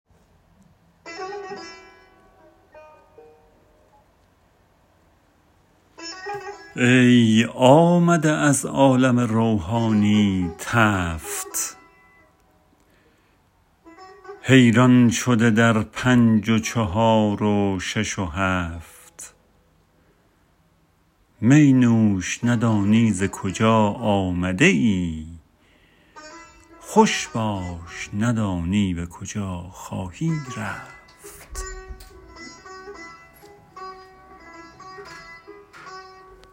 ای آمده از عالم روحانی تفت حیران شده در پنج و چهار و شش و هفت می نوش ندانی ز کجا آمده ای خوش باش ندانی به کجا خواهی رفت